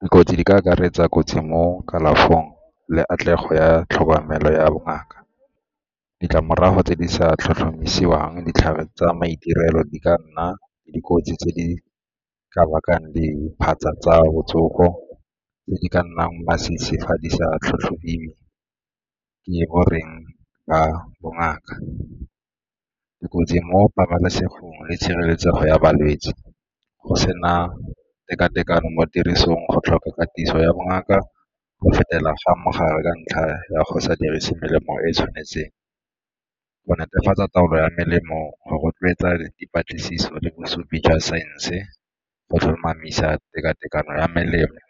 Dikotsi di ka akaretsa kotsi mo kalafong le katlego ya tlhokomelo ya bongaka. Ditlamorago tse di sa tlhotlhomisiwang, ditlhare tsa maitirelo di ka nna le dikotsi tse di ka bakang diphatsa tsa botsogo tse di ka nnang masisi fa di sa tlhatlhobiwe, ke goreng ba bongaka. Dikotsi mo pabalesegong le tshireletsego ya balwetse go sena teka-tekano mo tirisong, go tlhoka katiso ya bongaka go fetela ga mogare ka ntlha ya go sa dirise melemo e e tshwanetseng, go netefatsa taolo ya melemo go rotloetsa dipatlisiso le bosupi jwa saense, go tlhomamisa tekatekano ya melemo.